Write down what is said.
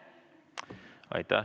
Aitäh!